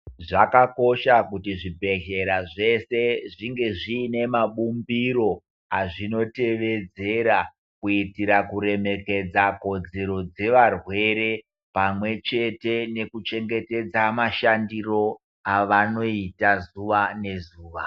Zvakakosha kuti zvibhedhlera zveshe zvinge zviine mabumbiro azvinotevedzera kuitira kuremekedza kodzero dzevarwere pamwechete nekuchengetedze mashandiro avanoita zuwa nezuwa.